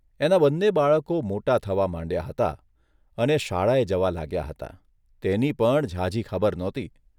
એનાં બંને બાળકો મોટા થવા માંડ્યા હતા અને શાળાએ જવા લાગ્યાં હતાં તેની પણ ઝાઝી ખબર નહોતી.